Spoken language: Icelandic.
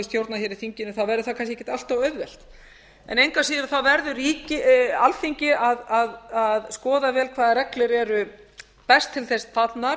stjórna hér í þinginu verður það kannski ekkert allt of auðvelt engu að siður verður alþingi að skoða vel hvaða reglur eru best til þess fallnar